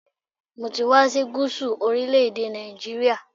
Mo ti wá sí Gúsù orílẹ̀-èdè Nàìjíríà